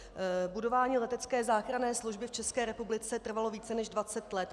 Budování letecké záchranné služby v České republice trvalo více než 20 let.